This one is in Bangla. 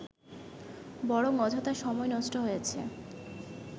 বরং অযথা সময় নষ্ট হয়েছে